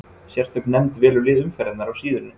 Sérstök nefnd velur lið umferðarinnar á síðunni.